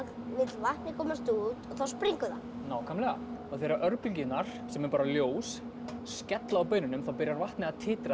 vill vatnið komast út og þá springur það nákvæmlega og þegar örbylgjurnar sem eru bara ljós skella á baununum þá byrjar vatnið að titra